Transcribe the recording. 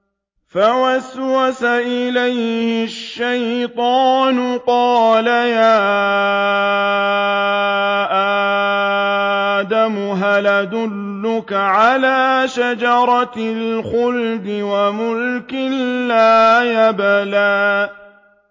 فَوَسْوَسَ إِلَيْهِ الشَّيْطَانُ قَالَ يَا آدَمُ هَلْ أَدُلُّكَ عَلَىٰ شَجَرَةِ الْخُلْدِ وَمُلْكٍ لَّا يَبْلَىٰ